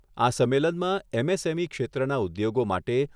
આ સંમેલનમાં એમએસએમઈ ક્ષેત્રના ઉદ્યોગો માટે